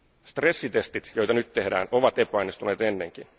Stressitestit, joita nyt tehdään, ovat epäonnistuneet ennenkin.